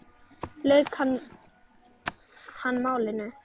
lauk hann málinu.